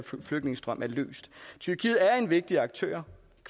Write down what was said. flygtningestrøm bliver løst tyrkiet er en vigtig aktør